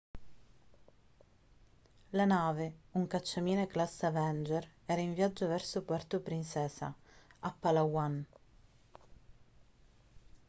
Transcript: la nave un cacciamine classe avenger era in viaggio verso puerto princesa a palawan